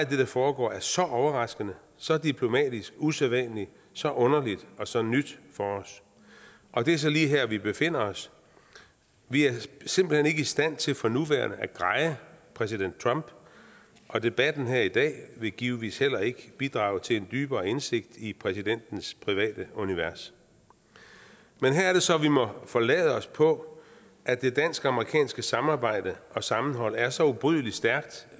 det der foregår er så overraskende så diplomatisk usædvanligt så underligt og så nyt for os og det er så lige her vi befinder os vi er simpelt hen ikke i stand til for nuværende at greje præsident trump og debatten her i dag vil givetvis heller ikke bidrage til en dybere indsigt i præsidentens private univers men her er det så vi må forlade os på at det dansk amerikanske samarbejde og sammenhold er så ubrydelig stærkt